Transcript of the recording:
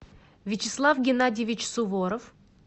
вячеслав геннадьевич суворов